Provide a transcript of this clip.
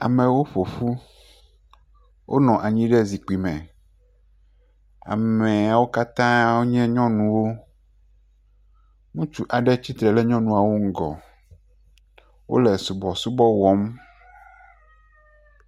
Amewo ƒo ƒu. Wonɔ anyi ɖe zikpui me. Ameawo kata nye nyɔnuwo. Ŋutsu aɖewo tsitre ɖe nyunɔawo ŋgɔ. Wole sɔbɔsɔbɔ wɔm.